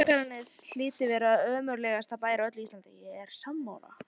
Mér fannst að Akranes hlyti að vera ömurlegasti bær á öllu Íslandi.